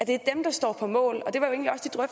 det er dem der står på mål